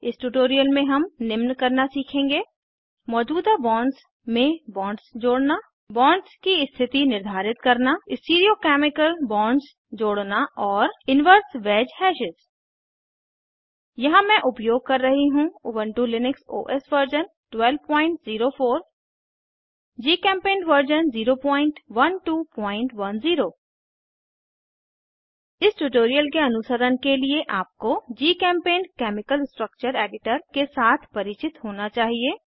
इस ट्यूटोरियल में हम निम्न करना सीखेंगे मौजूदा बॉन्ड्स में बॉन्ड्स जोड़ना बॉन्ड्स की स्थिति निर्धारित करना स्टीरियो केमिकल बॉन्ड्स जोड़ना और इनवर्स वैज हैशेस यहाँ मैं उपयोग कर रही हूँ Ubuntu Linux OS version 1204 GChemPaint version 01210 इस ट्यूटोरियल के अनुसरण के लिए आपको जीचेम्पेंट केमिकल स्ट्रक्चर एडिटर के साथ परिचित होना चाहिए